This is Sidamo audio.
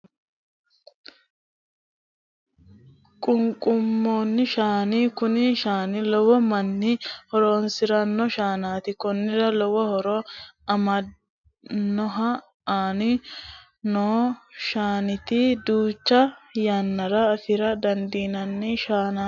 Qunqumado shaana Kuni shaani lowo manni horoonisirano shaanaati konnira lowo horo mannaho aanni noo shaanati duucha yannara afira dandiinanni shaanati